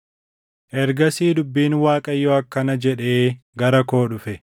Ergasii dubbiin Waaqayyoo akkana jedhee gara koo dhufe: